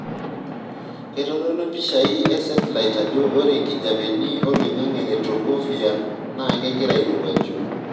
Keitodolu mpishai e setilait ajo ore nkijiepeni oloingange le tropophere naa kegira airowuaju.